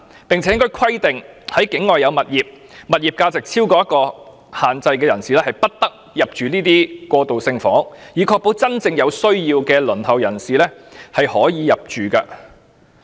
政府亦應規定，如申請人在境外所持有的物業價值超出某個水平，他們便不得入住過渡性房屋，以確保有關單位供有真正需要的輪候人士入住。